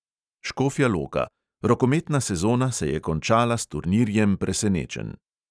Škofja loka – rokometna sezona se je končala s turnirjem presenečenj.